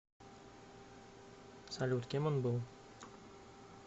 салют кем он был